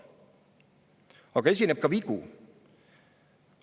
Aga esineb ka vigu.